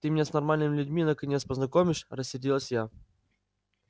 ты меня с нормальными людьми наконец познакомишь рассердилась я